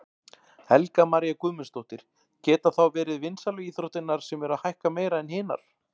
Helga María Guðmundsdóttir: Geta þá verið vinsælu íþróttirnar sem eru að hækka meira en hinar?